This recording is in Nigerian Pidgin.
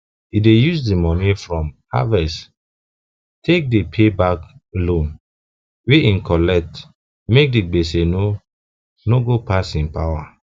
e dey use the money from him harvest take dey pay back loan wey e collect make the gbese no no go pass him power